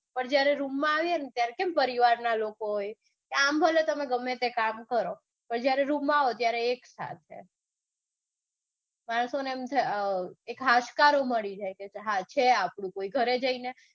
પણ જયારે room માં આવીયે ને ત્યારે પરિવારના લોકો હોય આમ ભલે તમે કામ કરીયે પણ જયારે રૂમ માં આવો એટલે એક સાથે માણસોને એમ થાય એક હાશકારો મળી જાય કે છે આપણું કોઈ ઘરે જઈને